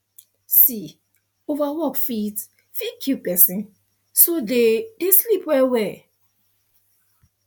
see over work fit fit kill person so dey dey sleep well well